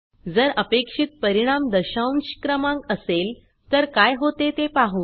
जर अपेक्षित परिणाम दशांश क्रमांक असेल तर काय होते ते पाहु